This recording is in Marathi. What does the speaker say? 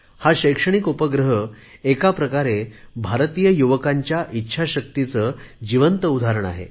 हा शैक्षणिक उपग्रह एका प्रकारे भारतीय युवकांच्या इच्छाशक्तीचे जिवंत उदाहरण आहे